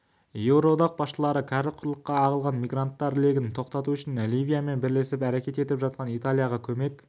еуроодақ басшылары кәрі құрлыққа ағылған мигранттар легін тоқтату үшін ливиямен бірлесіп әрекет етіп жатқан италияға көмек